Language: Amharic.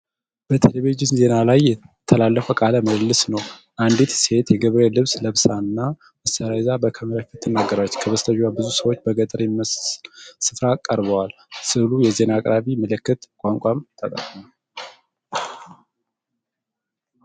በቴሌቪዥን ዜና ላይ የተላለፈ ቃለ ምልልስ ነው። አንዲት ሴት የገበሬ ልብስ ለብሳና መሳሪያ ይዛ በካሜራ ፊት ትናገራለች። ከበስተጀርባዋ ብዙ ሰዎች በገጠር በሚመስል ስፍራ ቀርበዋል። ሥዕሉ የዜና አቅራቢ ምልክት ቋንቋም ተጠቅሟል።